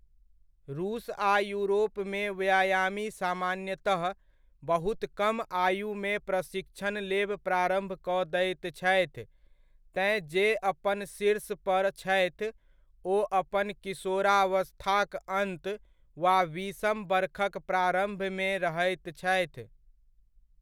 रूस आ यूरोपमे व्यायामी सामान्यतः बहुत कम आयुमे प्रशिक्षण लेब प्रारम्भ कऽ दैत छथि तेँ जे अपन शीर्ष पर छथि ओ अपन किशोरावस्थाक अन्त वा बीसम बरखक प्रारम्भमे रहैत छथि।